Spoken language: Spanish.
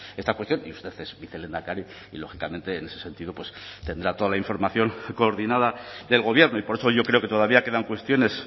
esta cuestión y usted es vicelehendakari y lógicamente en ese sentido tendrá toda la información coordinada del gobierno y por eso yo creo que todavía quedan cuestiones